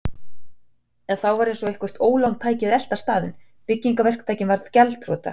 En þá var eins og eitthvert ólán tæki að elta staðinn: Byggingaverktakinn varð gjaldþrota.